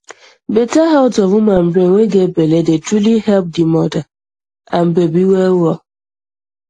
better health of woman brain wey get belle dey truly help di mother and baby well well